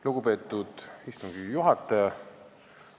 Lugupeetud istungi juhataja!